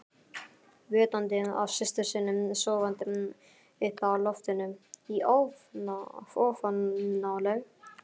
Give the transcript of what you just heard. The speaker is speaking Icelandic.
Vitandi af systur sinni sofandi uppi á loftinu í ofanálag?